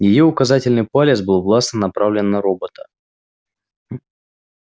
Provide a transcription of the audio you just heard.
её указательный палец был властно направлен на робота